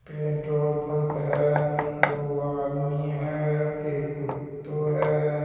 Petrol pump है दो आदमी है एक कुत्तो है।